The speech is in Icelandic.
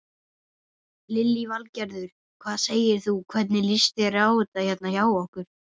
Lillý Valgerður: Hvað segir þú, hvernig líst þér á þetta hérna hjá okkur?